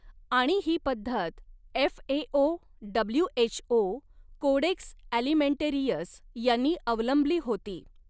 आणि ही पद्धत एफएओ डब्ल्यूएचओ कोडेक्स ॲलिमेंटेरियस यांनी अवलंबली होती.